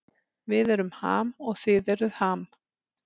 Við erum Ham og þið eruð Ham